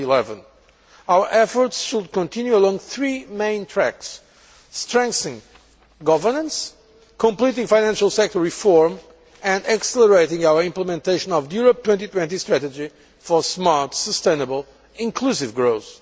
2011. Our efforts will continue along three main tracks strengthening governance, completing financial sector reform and accelerating our implementation of the Europe 2020 strategy for smart, sustainable and inclusive growth.